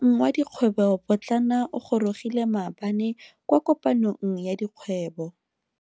Moeng wa dikgwebo potlana o gorogile maabane kwa kopanong ya dikgwebo.